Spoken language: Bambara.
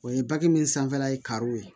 O ye baki min sanfɛla ye kariw ye